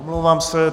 Omlouvám se.